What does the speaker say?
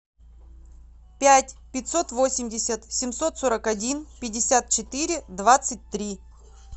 пять пятьсот восемьдесят семьсот сорок один пятьдесят четыре двадцать три